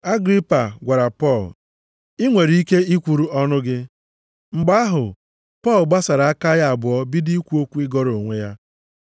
Agripa gwara Pọl, “Ị nwere ike i kwuru ọnụ gị.” Mgbe ahụ, Pọl gbasara aka ya abụọ bido ikwu okwu ịgọrọ onwe ya,